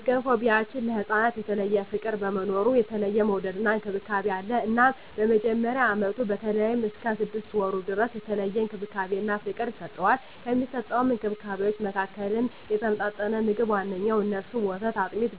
በገንፎ ቢያችን ለህፃናት የተለየ ፍቅር በመኖሩ የተለየ መወደድና እንክብካቤ አለ እናም በመጀመሪያ አመቱ በተለይም እስከ ስድስት ወሩ ድረስ የተለየ እንክብካቤና ፍቅር ይሰጠዋል። ከሚሰጠዉ እንክብካቤወች መካከልም የተመጣጠነ ምግብ ዋነኛዉ እነሱም፦ ወተት፣ አጥሚት፣